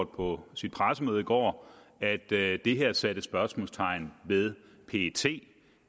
på sit pressemøde i går at det det at sætte spørgsmålstegn ved pet